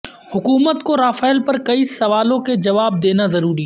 حکومت کو رافیل پر کئی سوالوں کے جواب دینا ضروری